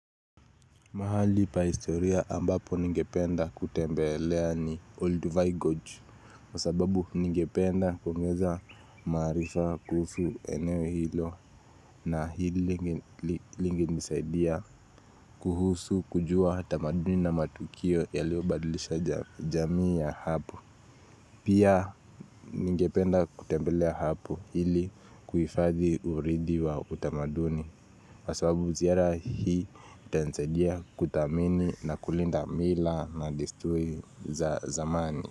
Mahali pa historia ambapo ningependa kutembelea ni Old Vigodge kwasababu ningependa kuongeza maarifa kuhusu eneo hilo na ili inisaidia kuhusu kujua tamaduni na matukio ya liobadlisha jamii ya hapo Pia ningependa kutembelea hapo ili kuhifadhi uridhi wa utamaduni kwa sababu ziara hii itanisadia kuthamini na kulinda mila na desturi za zamani.